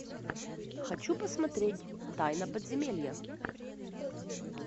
хочу посмотреть тайна подземелья